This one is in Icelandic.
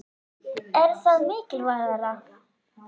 Er það mikilvægara?